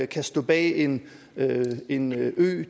kan stå bag en en ø